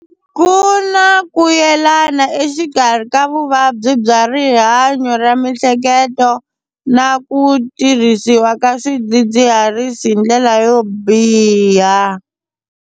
Ku na ku yelana exikarhi ka vuvabyi bya rihanyo ra miehleketo, na ku tirhisiwa ka swidzidziharisi hi ndlela yo biha.